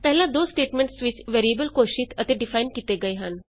ਪਹਿਲਾਂ ਦੋ ਸਟੇਟਮੈਂਟਸ ਵਿਚ ਵੈਰੀਏਬਲਸ ਘੋਸ਼ਿਤ ਅਤੇ ਡਿਫਾਈਨ ਕੀਤੇ ਗਏ ਹਨ